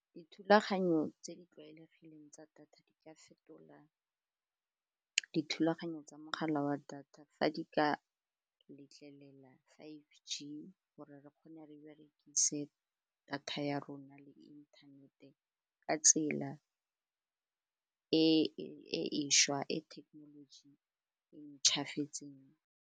Dithulaganyo tse di tlwaelegileng tsa data di ka fetola dithulaganyo tsa mogala wa data fa di ka letlelela five G gore re kgone re berekise data ya rona le inthaneteng ka tsela e šwa e technology e ntšhafetseng.